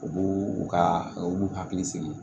U b'u u ka u b'u hakili sigi